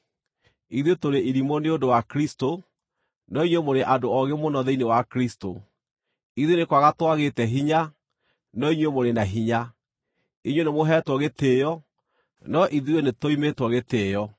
Ithuĩ tũrĩ irimũ nĩ ũndũ wa Kristũ, no inyuĩ mũrĩ andũ oogĩ mũno thĩinĩ wa Kristũ! Ithuĩ nĩ kwaga twagĩte hinya, no inyuĩ mũrĩ na hinya! Inyuĩ nĩmũheetwo gĩtĩĩo, no ithuĩ nĩtũimĩtwo gĩtĩĩo!